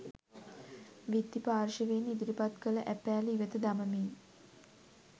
විත්ති පාර්ශ්වයෙන් ඉදිරිපත් කළ ඇපෑල ඉවත දමමින්